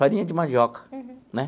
Farinha de mandioca, né?